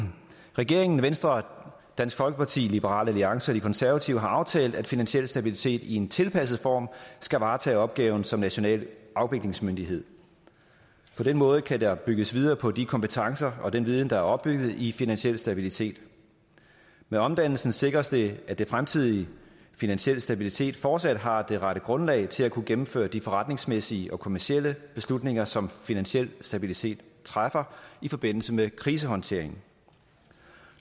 regeringen venstre dansk folkeparti liberal alliance og de konservative har aftalt at finansiel stabilitet i en tilpasset form skal varetage opgaven som national afviklingsmyndighed på den måde kan der bygges videre på de kompetencer og den viden der er opbygget i finansiel stabilitet med omdannelsen sikres det at det fremtidige finansiel stabilitet fortsat har det rette grundlag til at kunne gennemføre de forretningsmæssige og kommercielle beslutninger som finansiel stabilitet træffer i forbindelse med krisehåndtering